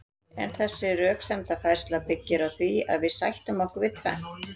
en þessi röksemdafærsla byggir á því að við sættum okkur við tvennt